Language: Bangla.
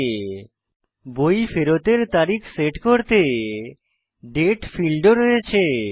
আমাদের বই ফেরতের তারিখ সেট করতে দাতে ফীল্ড ও রয়েছে